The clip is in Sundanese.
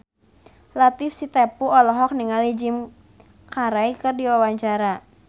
Latief Sitepu olohok ningali Jim Carey keur diwawancara